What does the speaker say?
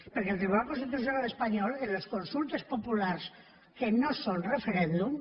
perquè el tribunal constitucional espanyol en les consultes populars que no són referèndum